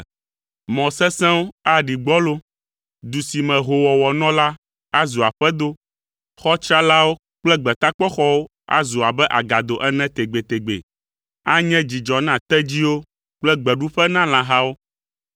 Mɔ sesẽwo aɖi gbɔlo. Du si me hoowɔwɔ nɔ la, azu aƒedo. Xɔ tsralawo kple gbetakpɔxɔwo azu abe agado ene tegbetegbe anye dzidzɔ na tedziwo kple gbeɖuƒe na lãhawo